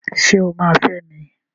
Ṣé o máa fẹ́ mi?